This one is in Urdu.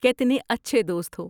کتنے اچھے دوست ہو!